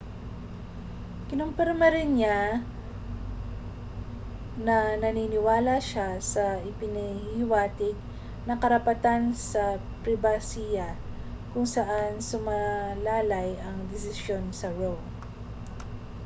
kinumpirma rin niya na naniniwala siya sa ipinahihiwatig na karapatan sa pribasiya kung saan sumalalay ang desisyon sa roe